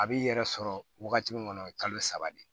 A b'i yɛrɛ sɔrɔ wagati min kɔnɔ o ye kalo saba de ye